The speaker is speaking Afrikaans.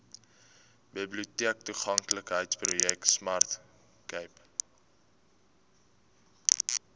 biblioteektoeganklikheidsprojek smart cape